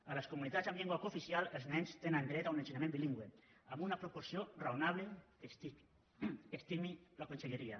a les comunitats amb llengua cooficial els nens tenen dret a un ensenyament bilingüe amb una proporció raonable que estimi la conselleria